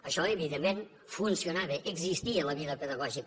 això evidentment funcionava existia la vida pedagògica